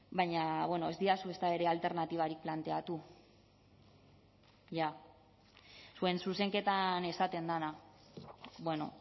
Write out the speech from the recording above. baina ez didazue ezta ere alternatibarik planteatu zuen zuzenketan esaten dena bueno